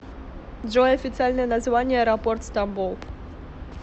джой официальное название аэропорт стамбул